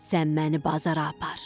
Sən məni bazara apar.